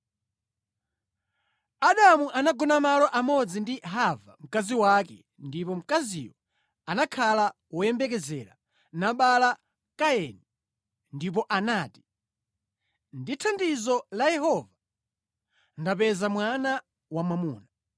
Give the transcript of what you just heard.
Adamu anagona malo amodzi ndi Hava mkazi wake ndipo mkaziyo anakhala woyembekezera nabala Kaini, ndipo anati, “Ndi thandizo la Yehova ndapeza mwana wamwamuna.”